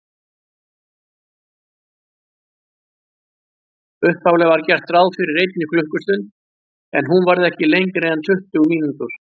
Upphaflega var gert ráð fyrir einni klukkustund, en hún varð ekki lengri en tuttugu mínútur.